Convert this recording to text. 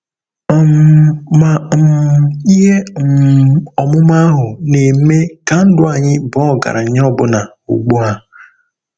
um Ma um ihe um ọmụma ahụ na-eme ka ndụ anyị baa ọgaranya ọbụna ugbu a.